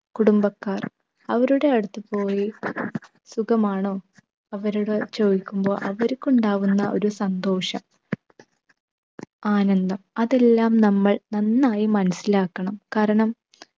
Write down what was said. കുടുംബക്കാർ അവരുടെ അടുത്ത് പോയി സുഖമാണോ? അവരോട് ചോദിക്കുമ്പോൾ അവർക്കുണ്ടാകുന്ന ഒരു സന്തോഷം ആനന്ദം അതെല്ലാം നമ്മൾ നന്നായി മനസിലാക്കണം. കാരണം